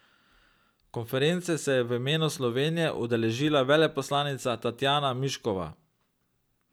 Konference se je v imenu Slovenije udeležila veleposlanica Tatjana Miškova.